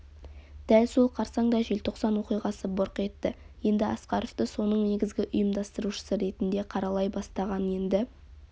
дәл сол қарсаңда желтоқсан оқиғасы бұрқ етті енді асқаровты соның негізгі ұйымдастырушысы ретінде қаралай бастаған енді